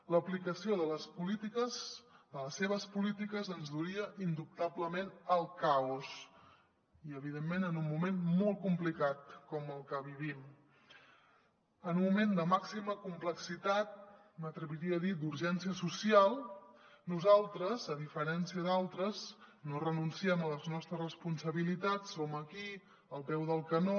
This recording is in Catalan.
l’aplicació de les seves polítiques ens duria indubtablement al caos i evidentment en un moment molt complicat com el que vivim en un moment de màxima complexitat m’atreviria a dir d’urgència social nosaltres a diferència d’altres no renunciem a les nostres responsabilitats som aquí al peu del canó